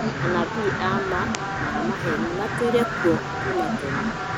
Anabii a ma na a maheni matũire kuo kuma tene